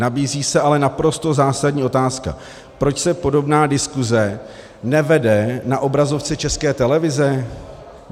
Nabízí se ale naprosto zásadní otázka: proč se podobná diskuse nevede na obrazovce České televize?